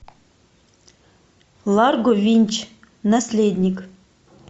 ларго винч наследник